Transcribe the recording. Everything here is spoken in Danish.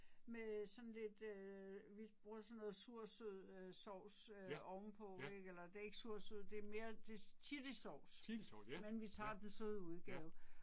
Med sådan lidt øh vi bruger sådan noget sur-sød øh sauce øh ovenpå ik eller det er ikke sur-sød det er mere det chili sauce. Men vi tager den søde udgave